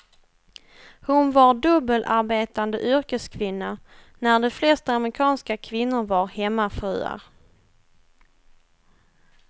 Hon var dubbelarbetande yrkeskvinna när de flesta amerikanska kvinnor var hemmafruar.